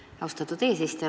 Aitäh, austatud eesistuja!